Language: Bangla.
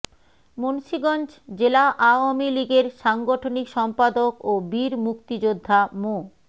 মুন্সীগঞ্জ জেলা আওয়ামী লীগের সাংগঠনিক সম্পাদক ও বীর মুক্তিযোদ্ধা মো